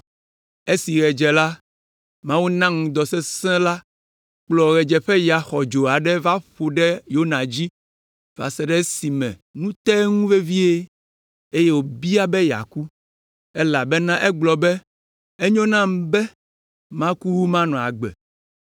Esi ɣe dze la, Mawu na ŋdɔ sesẽ la kplɔ ɣedzeƒeya xɔdzo aɖe va ƒo ɖe Yona dzi va se ɖe esime nu te eŋu vevie, eye wòbia be yeaku, elabena egblɔ be, “Enyo nam be maku wu manɔ agbe.”